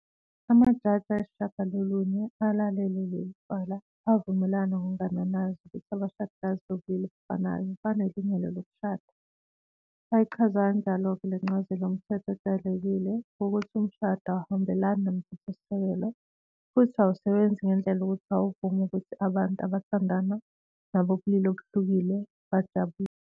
Amajaji ayisishiyagalolunye alalele leli cala avumelana ngokungananazi ukuthi abashadikazi bobulili obufanelwe banelungelo lokushada, bayichaza kanjalo-ke le ncazelo yomthetho ojwayelekile wokuthi umshado awuhambelani noMthethosisekelo futhi awusebenzi ngendlela yokuthi awuvumi ukuthi abantu abathandana nabobulili obuhlukile bajabulele